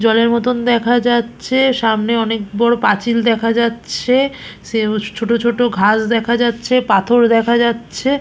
জলের মতন দেখা যাচ্ছে সামনে অনেক বড় পাঁচিল দেখা যাচ্ছে সেও ছোট ছোট ঘাস দেখা যাচ্ছে পাথর দেখা যাচ্ছে ।